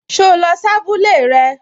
So lọ sí abúlé rẹ?